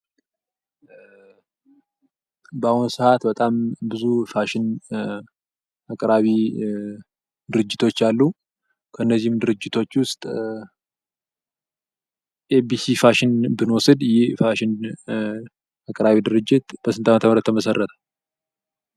በአሁኑ ሰዓት በጣም ብዙ ፋሽን አቅራቢ ድርጅቶች አሉ። ከእነዚህም ድርጅቶች ዉስጥ ኤቢሲ ፋሽን ብንወስድ ይህ ፋሽን ድርጅት በስንት ዓመተ ምህረት ተመሰረተ?